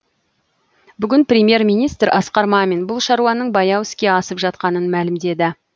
бүгін премьер министр асқар мамин бұл шаруаның баяу іске асып жатқанын мәлімдеді